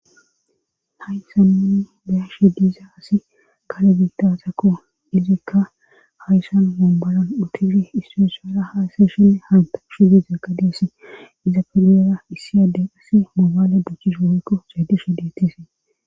haysanninni beyashe diiza asi gale biitasakko izikka hayssan mombolan utifi istiresuara haaseeshen hanta shu di zaqadeesi iza pelera issi addey asi mobaale buchchish hoykko caadishe ditesi